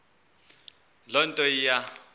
loo nto iya